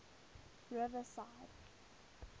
riverside